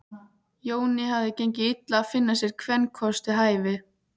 Jóni hafði gengið illa að finna sér kvenkost við hæfi.